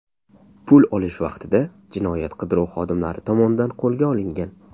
pul olish vaqtida jinoyat qidiruv xodimlari tomonidan qo‘lga olingan.